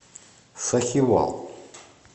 сахивал